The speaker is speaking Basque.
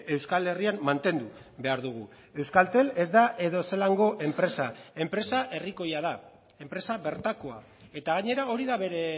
euskal herrian mantendu behar dugu euskaltel ez da edozelango enpresa enpresa herrikoia da enpresa bertakoa eta gainera hori da bere